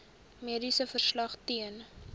mediese verslag ten